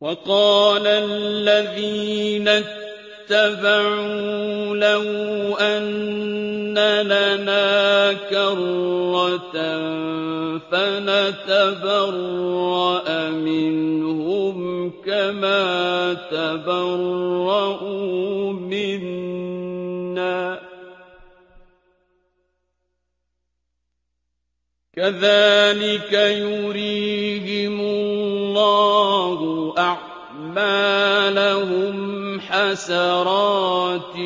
وَقَالَ الَّذِينَ اتَّبَعُوا لَوْ أَنَّ لَنَا كَرَّةً فَنَتَبَرَّأَ مِنْهُمْ كَمَا تَبَرَّءُوا مِنَّا ۗ كَذَٰلِكَ يُرِيهِمُ اللَّهُ أَعْمَالَهُمْ حَسَرَاتٍ